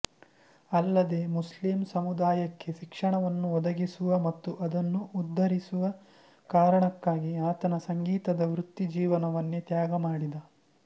ಅಲ್ಲದೇ ಮುಸ್ಲಿಂ ಸಮುದಾಯಕ್ಕೆ ಶಿಕ್ಷಣವನ್ನು ಒದಗಿಸುವ ಮತ್ತು ಅದನ್ನು ಉದ್ಧರಿಸುವ ಕಾರಣಕ್ಕಾಗಿ ಆತನ ಸಂಗೀತದ ವೃತ್ತಿಜೀವನವನ್ನೇ ತ್ಯಾಗಮಾಡಿದ